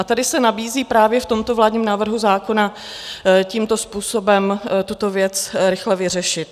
A tady se nabízí právě v tomto vládním návrhu zákona tímto způsobem tuto věc rychle vyřešit.